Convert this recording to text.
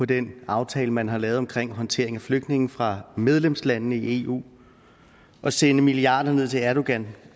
den aftale man har lavet om håndtering af flygtninge fra medlemslande i eu og sende milliarder ned til erdogan